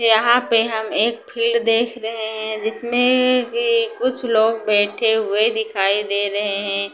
यहां पे हम एक फील्ड देख रहे हैं जिसमें की कुछ लोग बैठे हुए दिखाई दे रहे हैं।